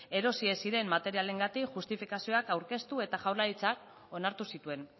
erosi ez ziren materialengatik justifikazioak aurkeztu eta jaurlaritzak onartu zituen